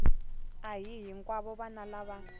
a hi hinkwavo vana lava